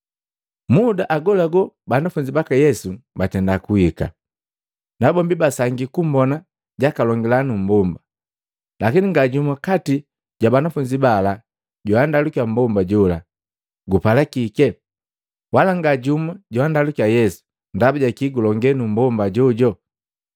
Muda agolagola banafunzi baka Yesu batenda kuhika, nabombi basangii kumbona jakalongila numbomba. Lakini nga jumu kati ja banafunzi bala joandalukiya mmbomba jola, “Gupala kike?” Wala nga jumu joandalukiya Yesu, “Ndabaja kii gulonge nu mmbomba ajojo?”